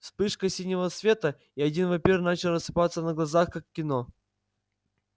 вспышка синего света и один вампир начал рассыпаться на глазах как в кино